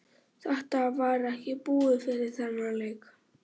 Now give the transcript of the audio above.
Þetta var ekki búið fyrir þennan leik.